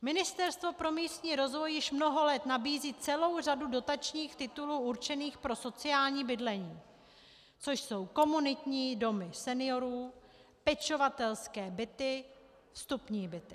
Ministerstvo pro místní rozvoj již mnoho let nabízí celou řadu dotačních titulů určených pro sociální bydlení, což jsou komunitní domy seniorů, pečovatelské byty, vstupní byty.